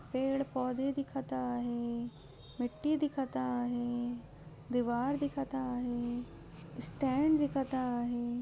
पेड़ पौधे दिखता है मिट्टी दिखता है दिवार दिखता है स्टैंड दिखता है।